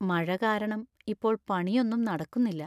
മഴ കാരണം ഇപ്പോൾ പണിയൊന്നും നടക്കുന്നില്ല.